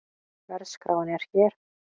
Verðskráin er hér